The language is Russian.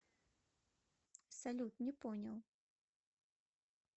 салют не понял